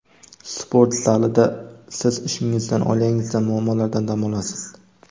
Sport zalida siz ishingizdan, oilangizdan, muammolardan dam olasiz.